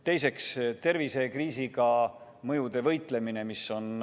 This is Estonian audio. Teiseks, tervisekriisi mõjudega võitlemine.